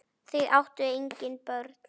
Þau áttu engin börn.